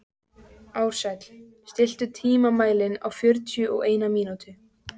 Ársæll, stilltu tímamælinn á fjörutíu og eina mínútur.